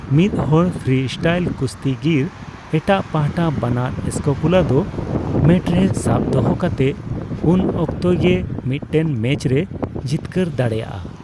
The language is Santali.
ᱢᱤᱫᱦᱚᱲ ᱯᱷᱨᱤᱥᱴᱟᱭᱤᱞ ᱠᱩᱥᱛᱤᱜᱤᱨ ᱮᱴᱟᱜ ᱯᱟᱦᱴᱟ ᱵᱟᱱᱟᱨ ᱥᱠᱮᱯᱩᱞᱟ ᱫᱚ ᱢᱮᱴ ᱨᱮ ᱥᱟᱵ ᱫᱚᱦᱚ ᱠᱟᱛᱮ ᱩᱱ ᱚᱠᱛᱮ ᱜᱮ ᱢᱤᱫᱴᱮᱱ ᱢᱮᱪ ᱨᱮᱭ ᱡᱤᱛᱠᱟᱹᱨ ᱫᱟᱲᱮᱭᱟᱜᱼᱟ ᱾